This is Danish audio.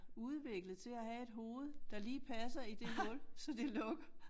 Udviklet til at have et hoved der lige passer i det hul så det lukker